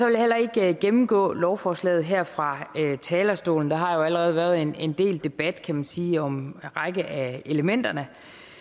jeg heller ikke gennemgå lovforslaget her fra talerstolen der har jo allerede været en del debat kan man sige om en række af elementerne